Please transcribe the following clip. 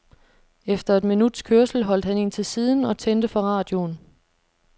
Efter et minuts kørsel holdt han ind til siden og tændte for radioen.